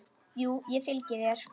Jú, ég fylgi þér.